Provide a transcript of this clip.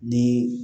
Ni